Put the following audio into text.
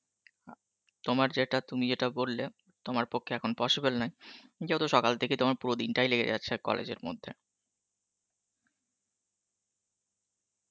আ তোমার যেটা তুমি যেটা বললে তোমার পক্ষে এখন possible নয় যেহেতু সকাল থেকে তোমার পুরো দিনটাই লেগে যাচ্ছে college এর মধ্যে